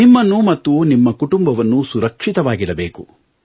ನಿಮ್ಮನ್ನು ಮತ್ತು ನಿಮ್ಮ ಕುಟುಂಬವನ್ನು ಸುರಕ್ಷಿತವಾಗಿಡಬೇಕು